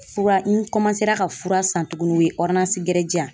Fura n ka fura san tuguni o ye gɛrɛ di yan.